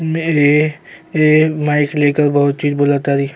ए mike लेकर बहुत चीज बोल तारी।